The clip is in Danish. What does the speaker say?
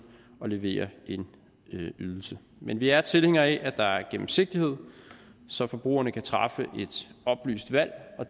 og levere en ydelse men vi er tilhængere af at der er gennemsigtighed så forbrugerne kan træffe et oplyst valg